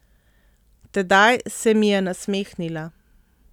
Tedaj se mi je nasmehnila.